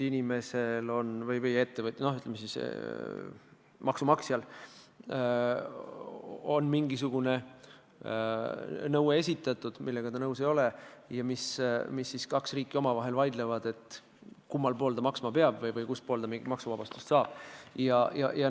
Inimesele või ettevõtjale või, ütleme siis, maksumaksjale on esitatud mingisugune nõue, millega ta nõus ei ole, ja siis kaks riiki omavahel vaidlevad, kummas riigis ta maksu maksma peab ja kus ta maksuvabastuse saab.